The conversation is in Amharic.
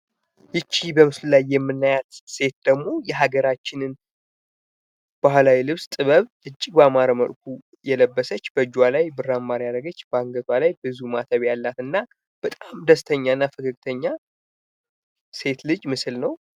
ይቺ በምስሉ ላይ የምናየው ሴት ደግሞ የሀገራችን ባህላዊ ልብስ ጥበብ እጅግ ባማረ መልኩ የለበሰች ፣በእጇ ላይ ብር አምባር ያድረገች፣ በአንገቷ ላይ ብዙ ማተብ ያላትና በጣም ደስተኛና ፈገግተኛ ሴት ልጅ ምስል ነው።